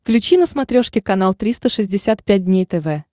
включи на смотрешке канал триста шестьдесят пять дней тв